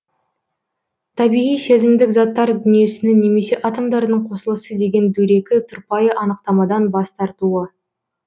табиғи сезімдік заттар дүниесінің немесе атомдардың қосылысы деген дөрекі тұрпайы анықтамадан бас тартуы